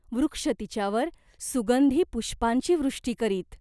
वृक्ष तिच्यावर सुगंधी पुष्पांची वृष्टी करीत.